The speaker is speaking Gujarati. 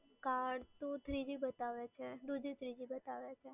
કાર્ડ તો three g બતાવે છે, two g three g બતાવે છે.